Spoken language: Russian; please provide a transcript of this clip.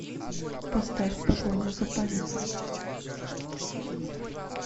поставь погоня за памятью